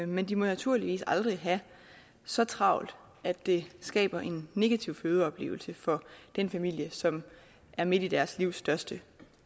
men de må naturligvis aldrig have så travlt at det skaber en negativ fødeoplevelse for den familie som er midt i deres livs største